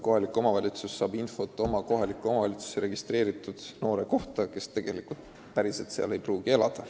Kohalik omavalitsus saab ju infot oma territooriumile registreeritud noore kohta, kes tegelikult ei pruugi seal elada.